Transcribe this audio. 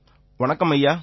வணக்கம் ஐயா